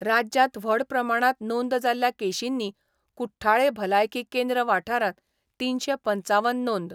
राज्यांत व्हड प्रमाणांत नोंद जाल्ल्या केशींनी कुट्ठाळे भलायकी केंद्र वाठारांत तीनशे पंचावन नोंद